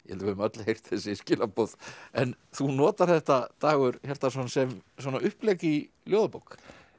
við höfum öll heyrt þessi skilaboð en þú notar þetta Dagur Hjartarson sem svona upplegg í ljóðabók